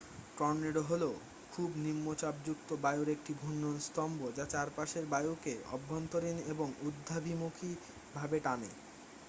tornado হলো খুব নিম্নচাপযুক্ত বায়ুর একটি ঘূর্ণন স্তম্ভ যা চারপাশের বায়ুকে অভ্যন্তরীণ এবং ঊর্ধ্বাভিমুখী ভাবে টানে